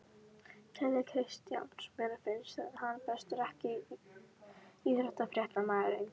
Keli Kristjáns mér finnst hann bestur EKKI besti íþróttafréttamaðurinn?